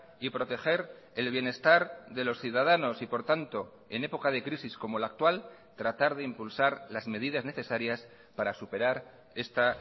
y proteger el bienestar de los ciudadanos y por tanto en época de crisis como la actual tratar de impulsar las medidas necesarias para superar esta